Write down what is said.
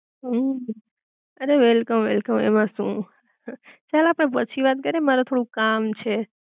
હમ, અરે welcome, welcome એમ સુ ચાલ આપડે પછી વાત કરી એ મારે થોડું કામ છે